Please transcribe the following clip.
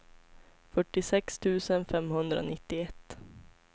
fyrtiosex tusen femhundranittioett